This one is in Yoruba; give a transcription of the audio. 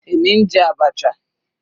Èmi ń jẹ abacha.